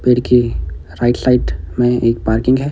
पेड़ के right side में एक पार्किंग है।